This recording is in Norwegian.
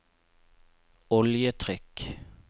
oljetrykk